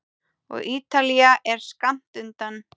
Og Ítalía er skammt undan.